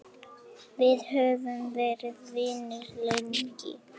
Við höfum verið vinir lengi.